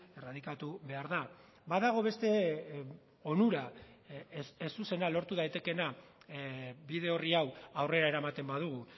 erradikatu behar da badago beste onura ez zuzena lortu daitekeena bide orri hau aurrera eramaten badugu